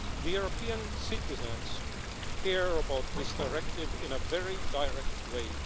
European citizens care about this directive in a very direct way.